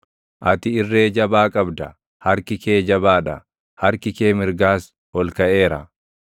Ati irree jabaa qabda; harki kee jabaa dha; harki kee mirgaas ol kaʼeera.